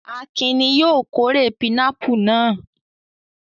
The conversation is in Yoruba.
Akin ni yóò kórè pinápù náà.